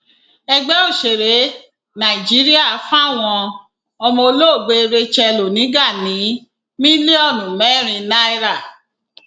ẹgbẹ òsèré nàìjíríà fáwọn ọmọ olóògbé racheal oníga ní mílíọnù mẹrin náírà